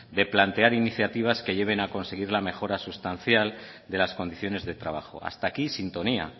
de plantear iniciativas que lleven a conseguir la mejora sustancial de las condiciones de trabajo hasta aquí sintonía